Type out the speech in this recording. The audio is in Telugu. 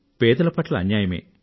పేదల పట్ల అన్యాయమే